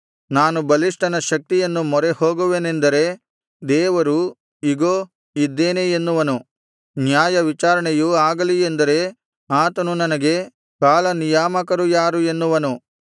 ನಾನು ಬಲಿಷ್ಠನ ಶಕ್ತಿಯನ್ನು ಮೊರೆಹೋಗುವೆನೆಂದರೆ ದೇವರು ಇಗೋ ಇದ್ದೇನೆ ಎನ್ನುವನು ನ್ಯಾಯವಿಚಾರಣೆಯು ಆಗಲಿ ಎಂದರೆ ಆತನು ನನಗೆ ಕಾಲ ನಿಯಾಮಕರು ಯಾರು ಎನ್ನುವನು